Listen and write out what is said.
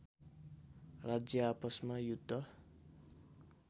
राज्य आपसमा युद्ध